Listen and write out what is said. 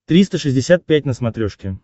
триста шестьдесят пять на смотрешке